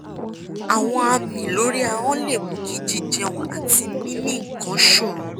àwọn àmì lórí ahọ́n lè mú kí jíjẹun àti mímì nǹkan ṣòro